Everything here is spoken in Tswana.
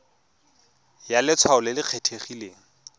ya letshwao le le kgethegileng